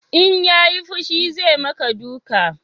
In ya yi fushi zai ma ka duka